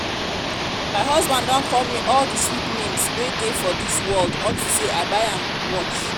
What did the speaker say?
my husband don call me all the sweet names wey dey for dis world unto say i buy am watch